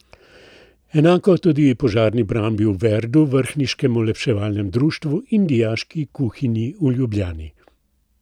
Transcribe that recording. Enako tudi požarni brambi v Verdu, vrhniškemu olepševalnemu društvu in Dijaški kuhinji v Ljubljani.